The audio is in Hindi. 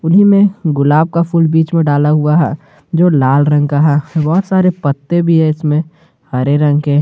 उन्हीं में गुलाब का फूल बीच में डाला हुआ है जो लाल रंग का है बहुत सारे पत्ते भी है इसमें हरे रंग के --